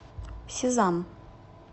сезам